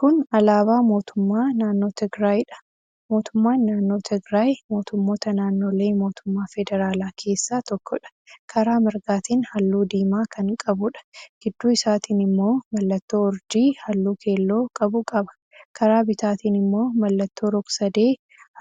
Kun alaabaa mootummaa naannoo Tigraayiidha. Mootummaan naannoo Tigraay mootummoota naannolee mootummaa federaalaa keessaa tokkodha. Karaa mirgaatiin halluu diimaa kan qabuudha. Gidduu isaatiin immoo mallattoo urjii halluu keelloo qabu qaba. Karaa bitaatiin immoo mallattoo rog-sadee